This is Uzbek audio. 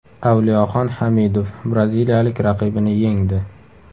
Avliyoxon Hamidov braziliyalik raqibini yengdi.